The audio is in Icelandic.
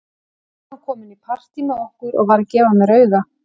Nú var hann kominn í partí með okkur og var að gefa mér auga.